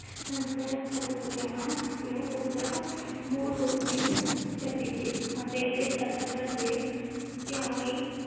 ਇਹ ਪੁਸਤਕ ਮੂਲ ਰੂਪ ਵਿਚ ਛਪੀ ਸੀ